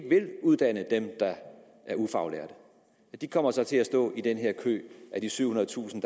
uddanne dem der er ufaglærte de kommer så til at stå i den her kø af de syvhundredetusind